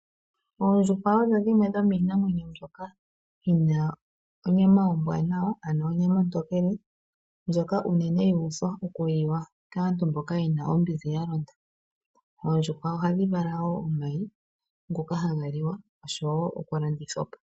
Ondjuhwa odho dhimwe dho minamwenyo mbyoka yina onyama ombwanawa ano onyama ontokele ndjoka uunene yuudhwa okuliwa kaantu mboka yena ombinzi yalonda .Oondjuhwa ohadhi vala woo omayi ngoka haga liwa oshowo okulandithwapo.